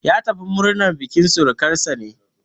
Ya tafi murnar bukin surukansa ne.